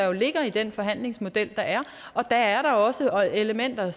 jo ligger i den forhandlingsmodel der er der er da også elementer